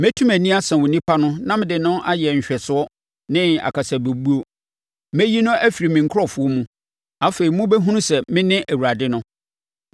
Mɛtu mʼani asa onipa no na mede no ayɛ nhwɛsoɔ ne akasabɛbuo. Mɛyi no afiri me nkurɔfoɔ mu. Afei mobɛhunu sɛ mene Awurade no.